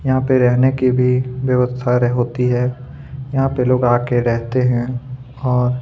यहाँ पे रहने की भी व्यवस्था होती है यहाँ पे लोग आके रहते है और--